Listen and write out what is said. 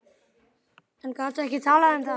En gat ekki talað um það.